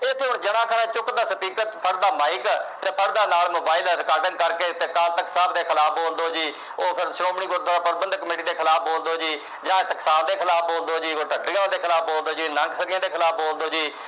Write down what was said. ਚੁੱਕਦਾ speaker ਫੜਦਾ mike ਫੜਦਾ ਨਾਲ mobile recording ਕਰਕੇ ਟਕਸਾਲ ਸਾਹਿਬ ਦੇ ਖਿਲਾਫ ਬੋਲਦੋ ਜੀ। ਫਿਰ ਉਹ ਸ਼੍ਰੋਮਣੀ ਗੁਰਦੁਆਰਾ ਪ੍ਰਬੰਧਕ committee ਖਿਲਾਫ ਬੋਲਦੋ ਜੀ ਜਾਂ ਟਕਸਾਲ ਦੇ ਖਿਲਾਫ ਬੋਲਦੋ ਜੀ। ਦੇ ਖਿਲਾਫ ਬੋਲਦੋ ਜੀ। ਦੇ ਖਿਲਾਫ ਬੋਲਦੋ ਜੀ।